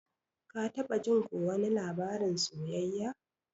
Ka taba jin ko wani labarin soyayya?